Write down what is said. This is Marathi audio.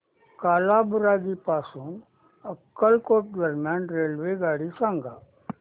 कालाबुरागी पासून अक्कलकोट दरम्यान रेल्वेगाडी सांगा